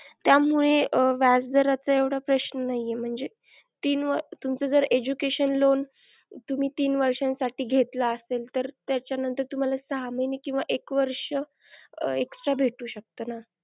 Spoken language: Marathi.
त्यामुळे व्याज दराचे येवडा प्रश्न नाही म्हणजे तीन तुमचं जर education loan तुम्ही तीन वर्षांसाठी घेतला असेल, तर त्याच्या नंतर तुम्हाला सहा महिने किंवा एक वर्ष extra भेटू शकत ना.